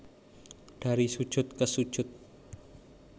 Dari Sujud Ke Sujud